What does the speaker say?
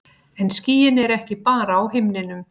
En skýin eru ekki bara á himninum.